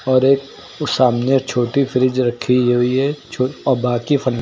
और एक सामने छोटी फ्रिज रखी हुई है छो अ बाकी फ--